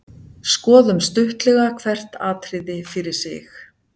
Skoðum stuttlega hvert atriði fyrir sig.